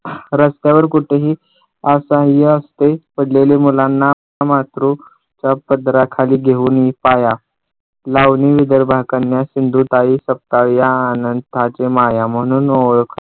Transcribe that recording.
रस्त्यावर कुठेही असह्य असते. पडलेले मुलांना मात्रूच्या पदराखाली घेऊन पाया लावणी विदर्भाकडून सिंधुताई सपकाळ या अनाथांची माया म्हणून ओळख